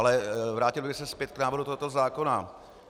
Ale vrátil bych se zpět k návrhu tohoto zákona.